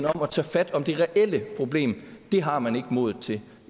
om at tage fat om det reelle problem har man ikke modet til